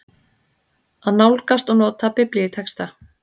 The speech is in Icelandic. AÐ NÁLGAST OG NOTA BIBLÍUTEXTA